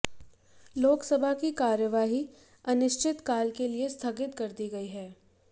लोकसभा की कार्यवाही अनिश्चितकाल के लिए स्थगित कर दी गई है